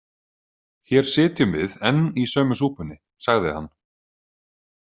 Hér sitjum við enn í sömu súpunni, sagði hann.